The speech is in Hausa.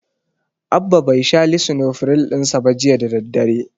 Abba bai sha lisinofiril ɗin sa ba jiya da daddare.